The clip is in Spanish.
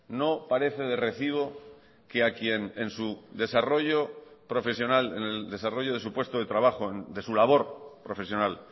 no parece de recibo que a quien en su desarrollo profesional en el desarrollo de su puesto de trabajo de su labor profesional